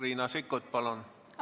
Riina Sikkut, palun!